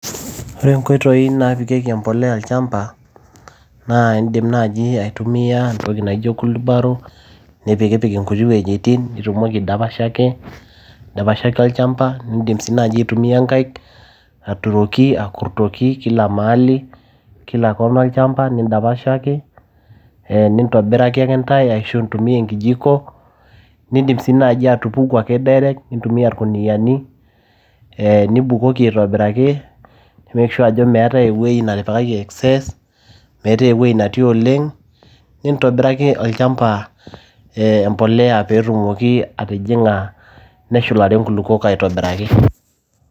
Ore inkoitoi naapikieki empolea olchamba naa indim naaji aitumia etoki naijo kulubaro nipik ipik inkuti wejitin nitumoki nidapashaki olchamba. Nidim naaji aitumia inkaik aturoki, akurtoki kila mahali kila corner olchamba nindapashaki nintobiraki intae ashu intumia enkijiko nindim sii naaji atubuku ake direct, nintumia ilkuniani nibukoki aitobiraki nimake sure ajo meeta eweji natipikaki excess, meetae eweji natii oleng' nintobiraki olchamba mpolea apik pee tumoki atijinga neshulare inkulukuok aitobiraki.